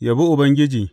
Yabi Ubangiji.